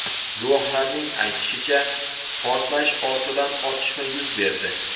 Guvohlarning aytishicha, portlash ortidan otishma yuz berdi.